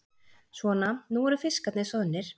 Svona, nú eru fiskarnir soðnir.